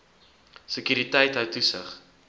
sekuriteit hou toesig